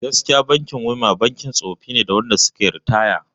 Gaskiya kam bankin WEMA bankin tsofi ne da na wanda suka yi ritaya